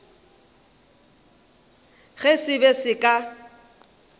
ge se be se ka